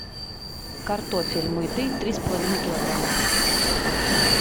картофель мытый три с половиной килограмма